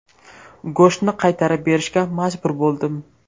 Go‘shtni qaytarib berishga majbur bo‘ldim.